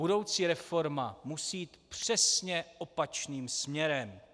Budoucí reforma musí jít přesně opačným směrem.